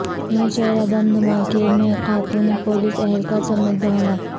Nowshera bomb دھماکے میں خاتون پولیس اہلکار سمیت دو ہلاک